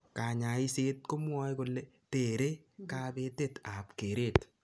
Kanyaiset kemwae kole tere kapetet ap keret